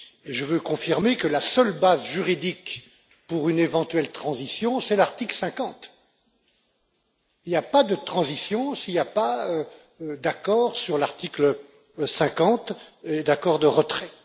Je veux confirmer que la seule base juridique pour une éventuelle transition est l'article 50. Il n'y a pas de transition s'il n'y a pas d'accord sur l'article 50, un accord de retrait.